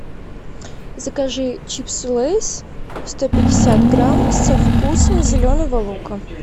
закажи чипсы лейс сто пятьдесят грамм со вкусом зеленого лука